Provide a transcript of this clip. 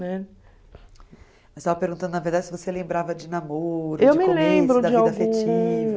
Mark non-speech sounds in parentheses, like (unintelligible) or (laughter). Né? (unintelligible) estava perguntando, na verdade, se você lembrava de namoro (unintelligible)